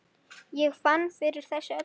Ég fann fyrir þessu öllu.